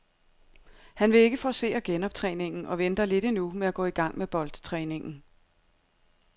Han vil ikke forcere genoptræningen og venter lidt endnu med at gå i gang med boldtræningen.